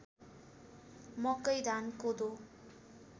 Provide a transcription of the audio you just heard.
मकै धान कोदो